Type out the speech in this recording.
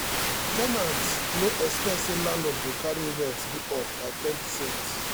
ten ants no expect say landlord go carry rent go up by ten percent